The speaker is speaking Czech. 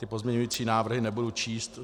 Ty pozměňovací návrhy nebudu číst.